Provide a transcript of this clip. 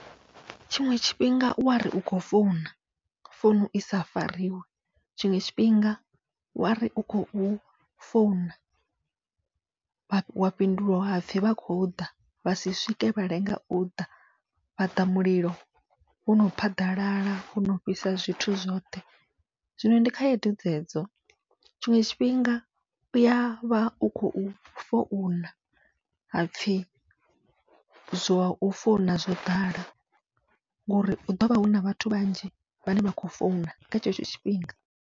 Tshiṅwe tshifhinga u wari u khou founa founu isa fariwe, tshiṅwe tshifhinga wari u khou founa wa fhinduliwa hapfhi vha khou ḓa vhasi swike vha lenga uḓa, vhaḓa mulilo wono phaḓalala wono fhisa zwithu zwoṱhe. Zwino ndi khaedu dzedzo tshiṅwe tshifhinga uya vha u khou founa hapfhi zwa u founa zwo ḓala, ngori hu ḓovha huna vhathu vhanzhi vhane vha khou founa kha tshetsho tshifhinga.